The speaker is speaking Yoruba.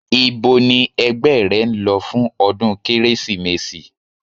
Íbo ni ẹgbẹ́ rẹ ń lọ fún ọdún Kérésìmesì?